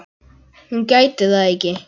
Hún gæti það ekki.